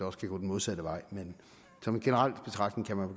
også kan gå den modsatte vej men som en generel betragtning kan man